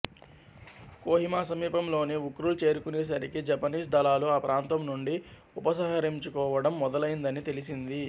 కోహిమా సమీపంలోని ఉఖ్రుల్ చేరుకునేసరికి జపనీస్ దళాలు ఆ ప్రాంతం నుండి ఉపసంహరించుకోవడం మొదలైందని తెలిసింది